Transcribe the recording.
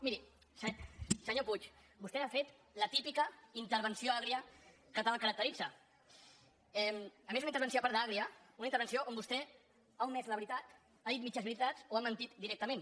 miri senyor puig vostè ha fet la típica intervenció agra que tant el caracteritza a més una intervenció a part d’agra una intervenció on vostè ha omès la veritat ha dit mitges veritats o ha mentit directament